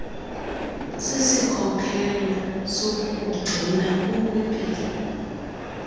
sisikhokelo sokukugcina ukwimpilo